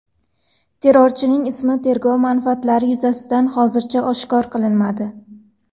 Terrorchining ismi tergov manfaatlari yuzasidan hozircha oshkor qilinmadi.